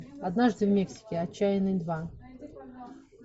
однажды в мексике отчаянный два